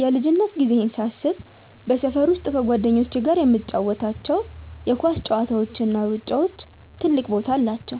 የልጅነት ጊዜዬን ሳስብ በሰፈር ውስጥ ከጓደኞቼ ጋር የምንጫወታቸው የኳስ ጨዋታዎችና ሩጫዎች ትልቅ ቦታ አላቸው።